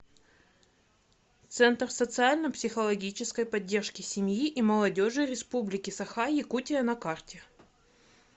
центр социально психологической поддержки семьи и молодежи республики саха якутия на карте